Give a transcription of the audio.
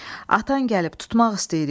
Atan gəlib tutmaq istəyirik.